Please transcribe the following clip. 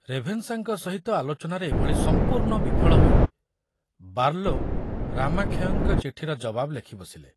ରେଭେନ୍ସାଙ୍କ ସହିତ ଆଲୋଚନାରେ ଏଭଳି ସମ୍ପୂର୍ଣ ବିଫଳ ହୋଇ ବାର୍ଲୋ ରାମାକ୍ଷୟଙ୍କ ଚିଠିର ଜବାବ ଲେଖିବସିଲେ।